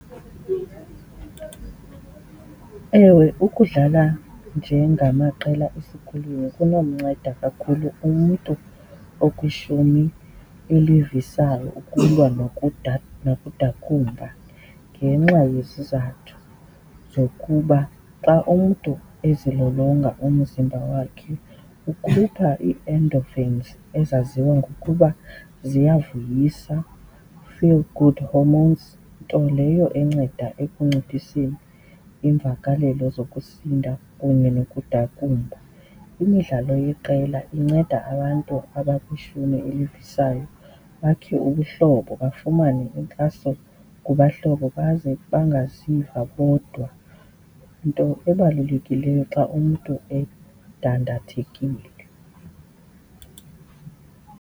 Ewe, ukudlala njengamaqela esikolweni kunomnceda kakhulu umntu okwishumi elivisayo ukulwa nokudakumba ngenxa yezizathu zokuba xa umntu ezilolonga umzimba wakhe ukhupha ii-endorphins ezaziwa ngokuba ziyavuyisa, feel good hormones. Nto leyo enceda ekunciphiseni iimvakalelo zokusinda kunye nokudakumba. Imidlalo yeqela inceda abantu abakwishumi elivisayo bakhe ubuhlobo, bafumane inkxaso kubahlobo baze bangaziva bodwa, nto ebalulekileyo xa umntu edandathekile.